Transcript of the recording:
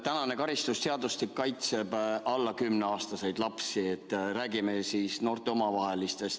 Praegune karistusseadustik kaitseb alla 10‑aastaseid lapsi, nii et räägime noorte omavahelistest suhetest.